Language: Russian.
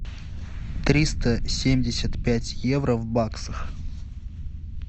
триста семьдесят пять евро в баксах